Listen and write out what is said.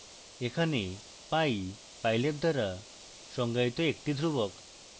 এখানে pi pylab দ্বারা সংজ্ঞায়িত একটি ধ্রুবক